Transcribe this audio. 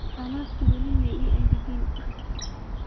Alabta weli maii engagin.